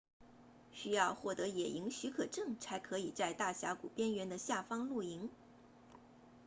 需要获得野营许可证才可以在大峡谷边缘的下方露营